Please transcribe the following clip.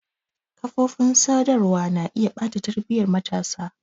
Kafofin sadarwa na iya ɓata tarbiyyar matasa.